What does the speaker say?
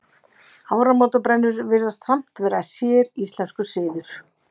Áramótabrennur virðast samt vera séríslenskur siður.